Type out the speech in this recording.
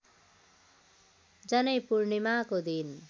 जनैपूर्णिमाको दिन